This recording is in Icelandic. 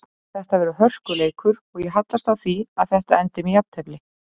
Þetta verður hörkuleikur og ég hallast að því að þetta endi með jafntefli.